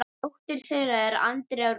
Dóttir þeirra er Andrea Rún.